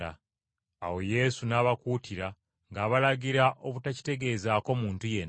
Awo Yesu n’abakuutira, ng’abalagira obutakitegeezaako muntu yenna,